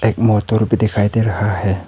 एक मोटर भी दिखाई दे रहा हैं।